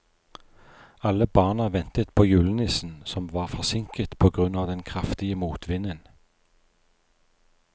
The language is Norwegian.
Alle barna ventet på julenissen, som var forsinket på grunn av den kraftige motvinden.